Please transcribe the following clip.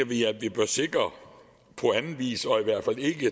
vi at vi bør sikre på anden vis og i hvert fald ikke